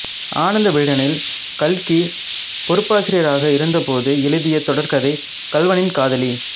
ஆனந்த விகடனில் கல்கி பொறுப்பாசிரியராக இருந்தபோது எழுதிய தொடர்கதை கள்வனின் காதலி